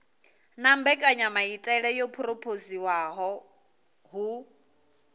na mbekanyamaitele yo phurophoziwaho hu